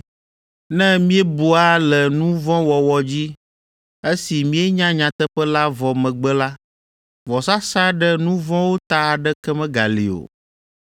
Ne míebua le nu vɔ̃ wɔwɔ dzi, esi míenya nyateƒe la vɔ megbe la, vɔsasa ɖe nu vɔ̃wo ta aɖeke megali o,